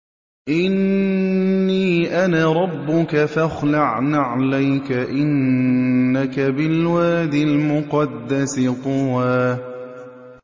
إِنِّي أَنَا رَبُّكَ فَاخْلَعْ نَعْلَيْكَ ۖ إِنَّكَ بِالْوَادِ الْمُقَدَّسِ طُوًى